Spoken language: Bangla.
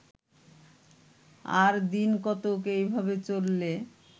আর দিনকতক এইভাবে চললে